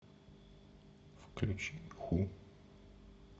включи ху